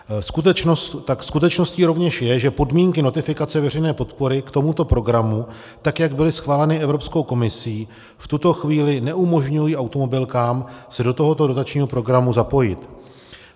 Skutečností rovněž je, že podmínky notifikace veřejné podpory k tomuto programu, tak jak byly schváleny Evropskou komisí, v tuto chvíli neumožňují automobilkám se do tohoto dotačního programu zapojit.